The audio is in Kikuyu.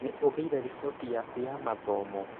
Nĩũgĩire riboti yaku ya mathomo?